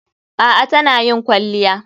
A'a tana yin kwalliya.